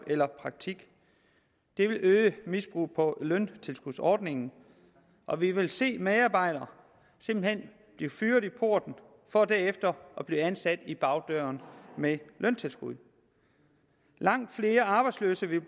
eller praktik det vil øge misbruget på løntilskudsordningen og vi vil se medarbejdere simpelt hen blive fyret i porten for derefter at blive ansat i bagdøren med løntilskud langt flere arbejdsløse vil